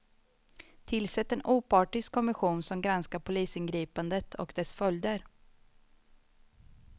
Tillsätt en opartisk kommission som granskar polisingripandet och dess följder.